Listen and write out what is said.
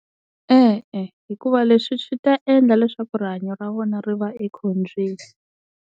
E-e hikuva leswi swi ta endla leswaku rihanyo ra vona ri va ekhombyeni.